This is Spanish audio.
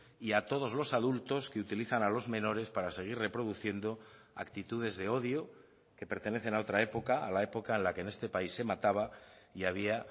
y a todos los adultos que utilizan a los menores para seguir reproduciendo actitudes de odio que pertenecen a otra época a la época en la que en este país se mataba y había